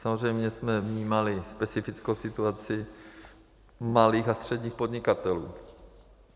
Samozřejmě jsme vnímali specifickou situaci malých a středních podnikatelů.